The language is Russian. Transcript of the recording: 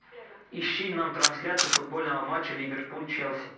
ищи нам трансляцию футбольного матча ливерпуль челси